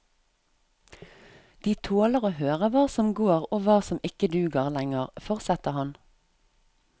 De tåler å høre hva som går og hva som ikke duger lenger, fortsetter han.